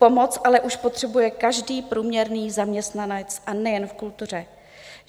Pomoc ale už potřebuje každý průměrný zaměstnanec, a nejen v kultuře.